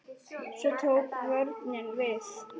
Svo tók vörnin við.